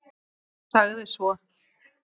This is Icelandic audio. Sagði svo: